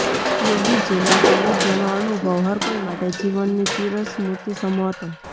યોગીજીના સાનિઘ્યનો અનુભવ હરકોઈ માટે જીવનની ચિરસ્મૃતિ સમો હતો